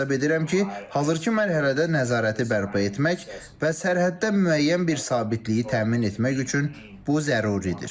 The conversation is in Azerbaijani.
Mən hesab edirəm ki, hazırki mərhələdə nəzarəti bərpa etmək və sərhəddə müəyyən bir sabitliyi təmin etmək üçün bu zəruridir.